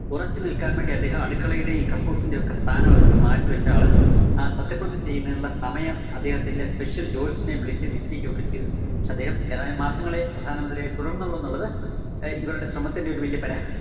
ഉറച്ചു നില്‍ക്കാന്‍ വേണ്ടി അദ്ദേഹം അടുക്കളയുടെയും കക്കൂസിന്റെയും ഒക്കെ സ്ഥാനമൊക്കെ മാറ്റിവെച്ച് ആള് ആ സത്യപ്രതിജ്ഞ ചെയ്യുന്നതിനുള്ള സമയം അദ്ദേഹത്തിന്റെ special ല്‍ ജോത്സ്യനെ വിളിച്ച് നിശ്ചയിക്കോക്കെ ചെയ്തു. പക്ഷേ അദ്ദേഹം ഏതാനും മാസങ്ങളെ പ്രധാനമന്ത്രിയായി തുടര്‍ന്നുള്ളൂന്നുള്ളത് ആഹ് ഇവരുടെ ശ്രമത്തിന്റെ ഒരു വല്യ പാര~